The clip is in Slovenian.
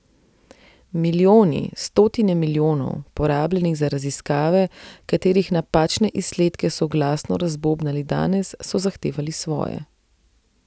Milijoni, stotine milijonov, porabljenih za raziskave, katerih napačne izsledke so glasno razbobnali danes, so zahtevali svoje.